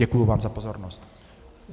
Děkuji vám za pozornost.